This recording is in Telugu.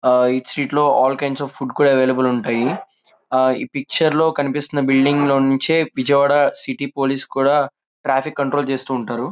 ఈ స్త్రీట్స్ లో all kinds of food available ఉంటుంది. ఈ పిక్చర్ లో కనిపించే బిల్డింగ్ నుంచే విజయవాడ పోలీస్ కూడా ట్రాఫిక్ కంట్రోల్ చేస్తూ ఉంటారు.